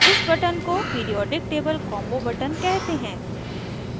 इस button को periodic table combo button कहते हैं